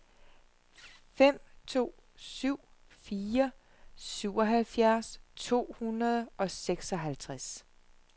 fem to syv fire syvoghalvfjerds to hundrede og seksoghalvtreds